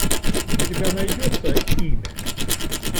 у тебя найдется имя